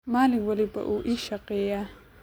Maalin walba wuu ii shaqeeyaa